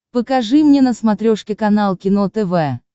покажи мне на смотрешке канал кино тв